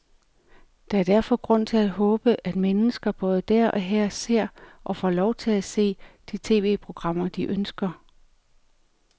Der er derfor grund til at håbe, at mennesker både der og her ser, og får lov til at se, de tv-programmer, de ønsker.